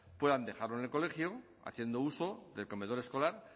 puedan dejarlo en el colegio haciendo uso del comedor escolar